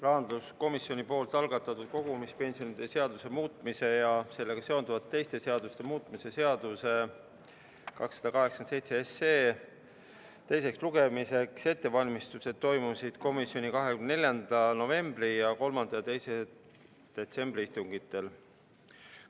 Rahanduskomisjon algatatud kogumispensionide seaduse muutmise ja sellega seonduvalt teiste seaduste muutmise seaduse eelnõu 287 teiseks lugemiseks ettevalmistused toimusid komisjoni 24. novembri ja 3. detsembri istungil.